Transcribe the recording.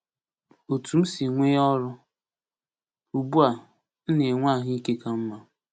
OTÚ M SI NWE ỌRỤ: Ugbu a, m na-enwe ahụ ike ka mma.